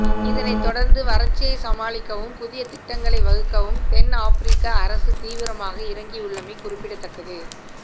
இதனைத் தொடர்ந்து வறட்சியை சமாளிக்கவும் புதிய திட்டங்களை வகுக்கவும் தென் ஆப்பிரிக்க அரசு தீவிரமாக இறங்கியுள்ளமை குறிப்பிடத்தக்கது